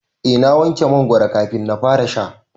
Eh na wanke mangoron kafin na fara sha.